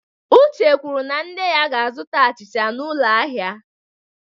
Uche kwuru na nne ya ga-azụta achịcha n'ụlọ ahịa.